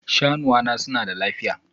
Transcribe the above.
Shanuwa na suna da lafiya?